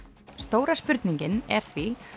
stóra spurningin er því